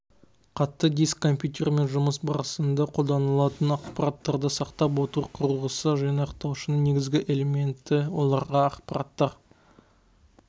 қатты диск компьютермен жұмыс барысында қолданылатын ақпараттарды сақтап отыру құрылғысы жинақтаушының негізгі элементі оларда ақпараттар